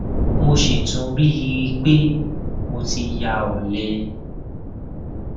mo sì tún rí i i pé mo ti ya ọlẹ